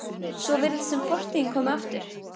Svo virðist sem fortíðin komi aftur.